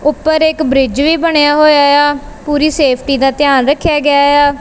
ਉੱਪਰ ਇੱਕ ਬ੍ਰਿਜ ਵੀ ਬਣਿਆ ਹੋਇਆ ਇਆ ਪੂਰੀ ਸੇਫਟੀ ਦਾ ਧਿਆਨ ਰੱਖਿਆ ਗਿਆ ਇਆ।